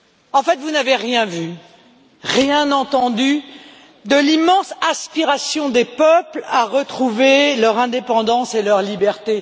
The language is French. En fait, vous n'avez rien vu, rien entendu de l'immense aspiration des peuples à retrouver leur indépendance et leur liberté.